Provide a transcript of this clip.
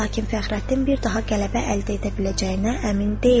Lakin Fəxrəddin bir daha qələbə əldə edə biləcəyinə əmin deyildi.